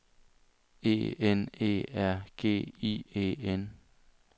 E N E R G I E N